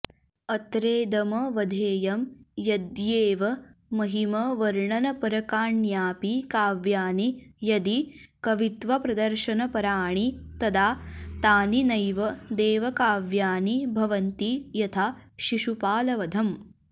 अत्रेदमवधेयं यद्देवमहिमवर्णनपरकाण्यपि काव्यानि यदि कवित्वप्रदर्शनपराणि तदा तानि नैव देवकाव्यानि भवन्ति यथा शिशुपालवधम्